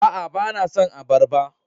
Aa, ba na son abarba.